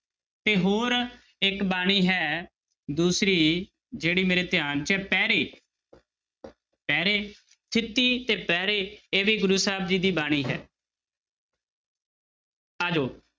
ਤੇ ਹੋਰ ਇੱਕ ਬਾਣੀ ਹੈ ਦੂਸਰੀ ਜਿਹੜੀ ਮੇਰੇ ਧਿਆਨ 'ਚ ਹੈ ਪੈਰੇ ਪੈਰੇ ਥਿੱਤੀ ਤੇ ਪੈਰੇ ਇਹ ਵੀ ਗੁਰੂ ਸਾਹਿਬ ਜੀ ਦੀ ਬਾਣੀ ਹੈ ਆ ਜਾਓ